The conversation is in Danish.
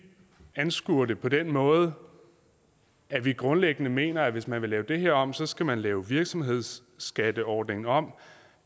anskuer det på den måde at vi grundlæggende mener at hvis man vil lave det her om så skal man lave virksomhedsskatteordningen om